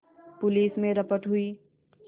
police में रपट हुई